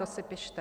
To si pište!